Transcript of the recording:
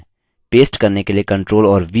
बादल copied हो चुके हैं